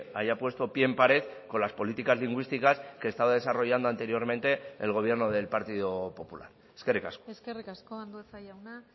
haya puesto pie en pared con las políticas lingüísticas que estaba desarrollando anteriormente el gobierno del partido popular eskerrik asko eskerrik asko andueza jauna